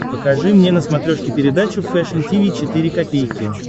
покажи мне на смотрешке передачу фэшн ти ви четыре ка